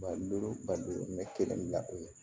Balo balimamɛ kelen bila o ye